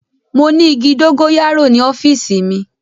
Mo ni igi dogoyaro ni ọfiisi mi.